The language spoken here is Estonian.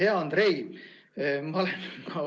Hea Andrei!